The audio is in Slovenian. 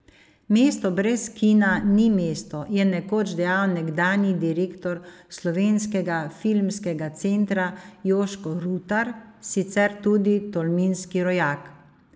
Mesto brez kina ni mesto, je nekoč dejal nekdanji direktor Slovenskega filmskega centra Jožko Rutar, sicer tudi tolminski rojak.